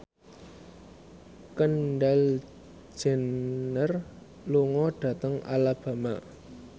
Kendall Jenner lunga dhateng Alabama